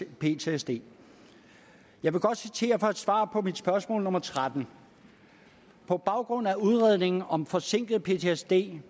ptsd jeg vil godt citere fra et svar på mit spørgsmål spørgsmål nummer 13 på baggrund af udredningen om forsinket ptsd